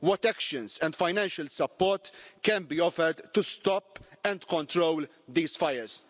What actions and financial support can be offered to stop and control these fires?